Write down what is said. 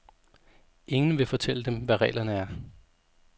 Ingen vil fortælle dem, hvad reglerne er.